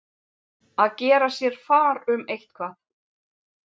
Að gera sér far um eitthvað